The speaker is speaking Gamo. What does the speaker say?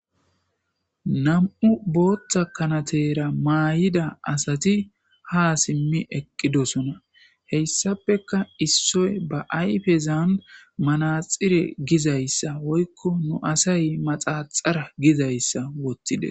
Namm'u boththa kanatera mayida assati ha simmi eqqidosona hayssapeka issoy ba ayffezan manaxire gizayssa woyko nu assay maxaxar gizaysa wotides